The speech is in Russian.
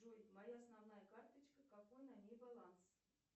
джой моя основная карточка какой на ней баланс